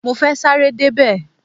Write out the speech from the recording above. Mo fẹ́ sáré débẹ̀.